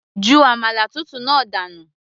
ju àmàlà tútù náà dànù